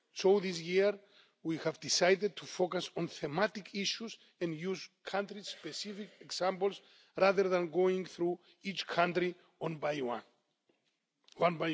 So this year we have decided to focus on thematic issues and use country specific examples, rather than going through each country one by one.